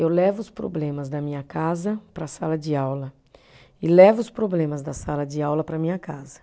Eu levo os problemas da minha casa para a sala de aula e levo os problemas da sala de aula para a minha casa.